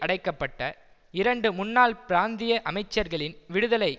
அடைக்க பட்ட இரண்டு முன்னாள் பிராந்திய அமைச்சர்களின் விடுதலை